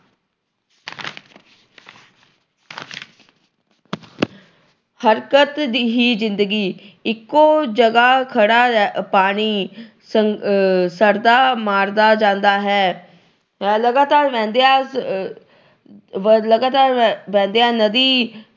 ਹਰਕਤ ਜਿਹੀ ਜਿੰਦਗੀ, ਇੱਕੋ ਜਗ੍ਹਾ ਖੜ੍ਹਾ ਪਾਣੀ ਸੜਦਾ ਮਾਰਦਾ ਜਾਂਦਾ ਹੈ। ਲਗਾਤਾਰ ਵਹਿੰਦਿਆਂ ਅਹ ਲਗਾਤਾਰ ਵਹਿੰਦਿਆਂ ਨਦੀ